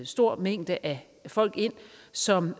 stor mængde af folk ind som